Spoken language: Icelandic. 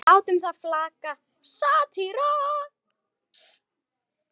látum það flakka: satýra.